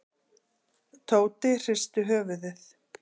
Tóti hristi höfuðið.